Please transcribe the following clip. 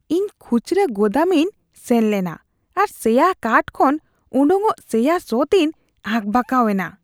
ᱤᱧ ᱠᱷᱩᱪᱨᱟᱹ ᱜᱳᱫᱟᱢ ᱤᱧ ᱥᱮᱱ ᱞᱮᱱᱟ ᱟᱨ ᱥᱮᱭᱟ ᱠᱟᱴᱷ ᱠᱷᱚᱱ ᱚᱰᱚᱠᱚᱜ ᱥᱮᱭᱟ ᱥᱚ ᱛᱤᱧ ᱟᱠᱵᱟᱠᱟᱣ ᱮᱱᱟ ᱾